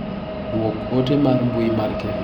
Duok ote mar mbui mar Kevin.